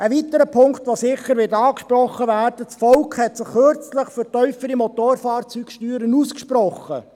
Ein weiterer Punkt, der sicher angesprochen wird: Das Volk hat sich erst kürzlich für tiefere Motorfahrzeugsteuern ausgesprochen.